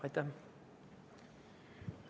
Aitäh!